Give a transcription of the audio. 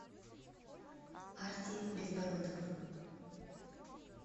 арти безбородов